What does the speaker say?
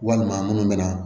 Walima minnu bɛna